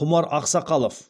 құмар ақсақалов